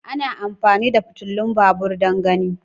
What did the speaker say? ana amfani da fitilun babur don gani.